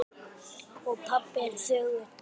Og pabbi er þögull.